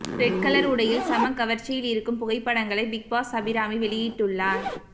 red colour உடையில் செம கவர்ச்சியில் இருக்கும் புகைப்படங்களை பிக் பாஸ் அபிராமி வெளியிட்டுள்ளார்